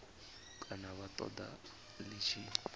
kana vha ṱoḓa ḽi tshi